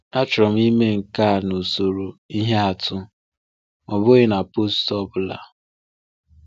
Achọrọ m ime nke a n’usoro ihe atụ, ọ bụghị na post ọ bụla.